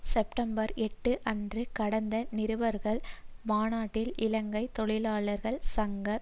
September எட்டு அன்று நடந்த நிருபர்கள் மாநாட்டில் இலங்கை தொழிலாளர் காங்கிரஸ்